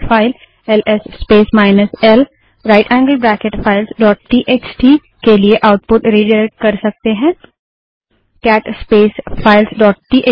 हम एक file L S space minus L right angled bracket files dot TXT LS space minus L right angled bracket files TXT के लिए output redirect कर सकते हैं